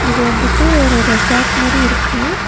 இது வந்துட்டு ஒரு ரெசார்ட் மாரி இருக்கு.